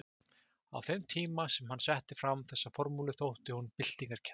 Á þeim tíma sem hann setti fram þessa formúlu þótti hún byltingarkennd.